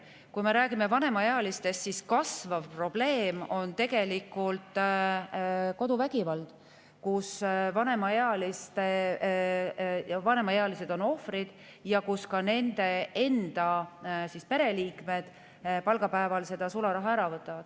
Kui me räägime vanemaealistest, siis kasvav probleem on koduvägivald, kui vanemaealised on ohvrid ja nende enda pereliikmed päeval võtavad selle sularaha ära.